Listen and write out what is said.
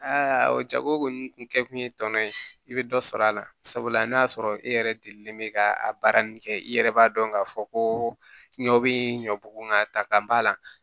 o jago kɔni tun kɛ kun ye tɔnɔ ye i bɛ dɔ sɔrɔ a la sabula n'a y'a sɔrɔ e yɛrɛ delilen bɛ ka a baara ninnu kɛ i yɛrɛ b'a dɔn k'a fɔ ko ɲɔ bɛ ɲɔ bugu nga ta ka b'a la